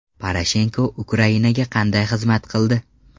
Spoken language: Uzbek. Poroshenko Ukrainaga qanday xizmat qildi?